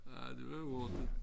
Ja det var hurtigt